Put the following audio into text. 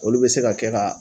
Olu bɛ se ka kɛ ka